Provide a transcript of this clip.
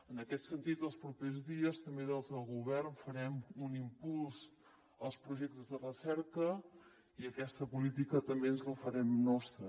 en aquest sentit els propers dies també des del govern farem un impuls als projectes de recerca i aquesta política també ens la farem nostra